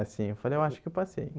Assim, eu falei, eu acho que eu passei.